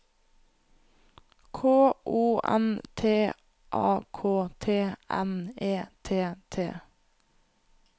K O N T A K T N E T T